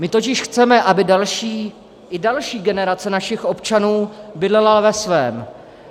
My totiž chceme, aby další, i další generace našich občanů bydlela ve svém.